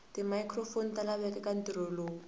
timicrophone talaveka ekantirho lowu